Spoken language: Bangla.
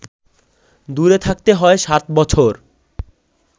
দূরে থাকতে হয় সাত বছর